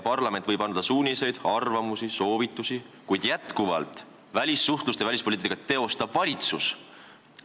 Parlament võib anda suuniseid, arvamusi ja soovitusi, kuid välissuhtlust ja välispoliitikat teostab valitsus.